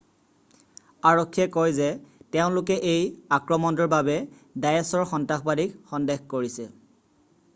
আৰক্ষীয়ে কয় যে তেওঁলোকে এই আক্ৰমণটোৰ বাবে ডায়েশ্ব আইএছআইএলৰ সন্ত্ৰাসবাদীক সন্দেহ কৰিছে।